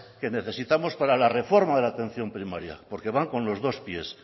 que necesitamos para la reforma de atención primaria porque van con los dos pies